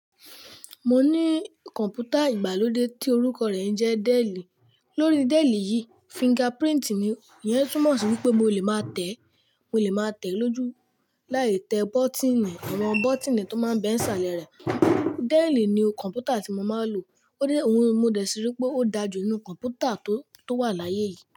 Mo ní kọ̀npútà ìgbàlódé tí orúkọ rẹ̀ ń jẹ́ Dell. Lórí Dell yìí, fingerprint ni, ìyẹn túmọ̀ sí wípé mo lè máa tẹ̀, mo lè máa tẹ̀ lójú láì tẹ bọ́tíìnì, àwọn bọ́tíìnì tó máa ń bẹ ìsàlẹ̀ rẹ̀. Dell ni kọ̀mpútà tí mo máa ń lò. Ó dé, òun mo dẹ̀ sí wípé ó dájú nínú kọ̀mpútà tó, tó wà láyé yìí.